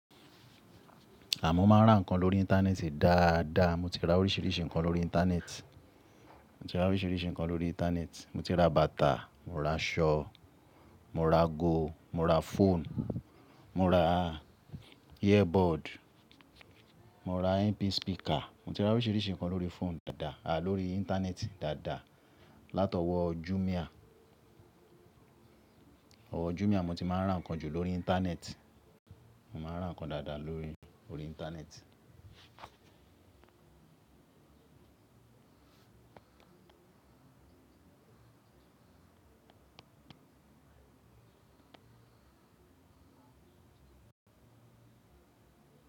Àmọ́ máa ń rà ǹkan lórí Íńtánẹ́ẹ̀tì dáadáa, mo ti ra oríṣiríṣi ǹkan lórí Íńtánẹ́ẹ̀tì. Mo ti ra oríṣiríṣi ǹkan lórí Íńtánẹ́ẹ̀tì, mo ti ra bàtà, mo ra aṣọ, mo ra ago, mo ra fóònù, mo ra earbud, mo ra MP speaker, mo ti ra oríṣiríṣi ǹkan lórí fóònù dáadáa, à lórí Íńtánẹ́ẹ̀tì dáadáa látọwọ́ Jumia. Owó Jumia mo ti máa ń ra ǹkan jù lórí Íńtánẹ́ẹ̀tì, mo máa ń ra ǹkan dáadáa lórí, lórí Íńtánẹ́ẹ̀tì.